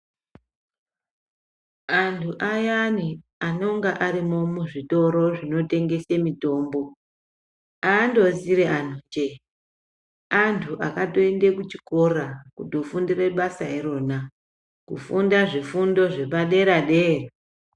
Antu ayani anonga arimo muzvitoro zvinotengese mitombo handozire antu jee. Antu akatoende kuchikora kutofundire basa irona kufunda zvifundo zvepadera-dera.